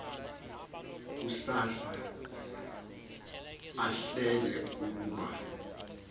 kusuka ahleke ukuba